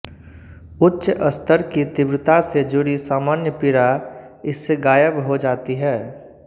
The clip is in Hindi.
उच्च स्तर की तीव्रता से जुड़ी सामान्य पीड़ा इससे गायब हो जाती है